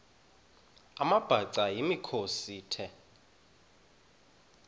amabhaca yimikhosi the